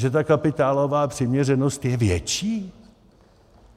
Že ta kapitálová přiměřenost je větší?